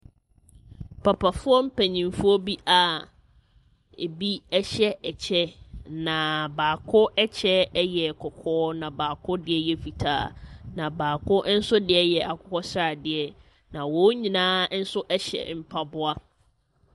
Papafoɔ mpaninfoɔ bi a ɛbi ɛhyɛ ɛkyɛ na baako ɛkyɛ yɛ kɔkɔɔ na baako deɛ yɛ fitaa na baako nso deɛ ɛyɛ akokosradeɛ na wɔn nyinaa nso ɛhyɛ mpaboa.